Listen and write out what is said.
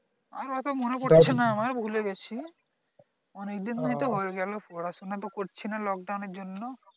আমার অত মনে পড়ছে না আমার ভুলে গেছি, অনেকদিন তো হয়ে গেল পড়াশোনা করছে না lockdown এর জন্য